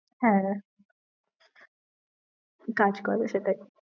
হ্যাঁ কাজ করে সেটাই।